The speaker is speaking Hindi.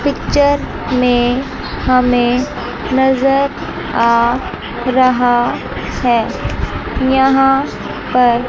पिक्चर में हमें नजर आ रहा है यहां पर--